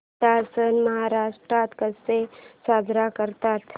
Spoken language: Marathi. नाताळ सण महाराष्ट्रात कसा साजरा करतात